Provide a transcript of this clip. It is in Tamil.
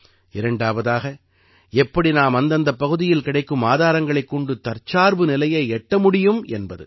இரண்டாவதாக எப்படி நாம் அந்தந்தப் பகுதியில் கிடைக்கும் ஆதாரங்களைக் கொண்டு தற்சார்பு நிலையை எட்ட முடியும் என்பது